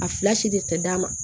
A fila si de tɛ d'a ma